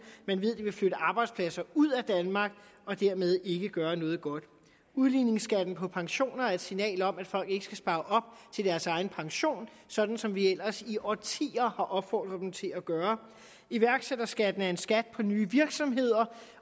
man ved det vil flytte arbejdspladser ud af danmark og dermed ikke gøre noget godt udligningsskatten på pensioner er et signal om at folk ikke skal spare op til deres egen pension sådan som vi ellers i årtier har opfordret dem til at gøre iværksætterskatten er en skat på nye virksomheder